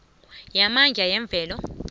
yamandla yemvelo